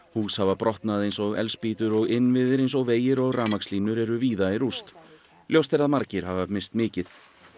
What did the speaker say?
hús hafa brotnað eins og eldspýtur og innviðir eins og vegir og rafmagnslínur eru víða í rúst ljóst er að margir hafa misst mikið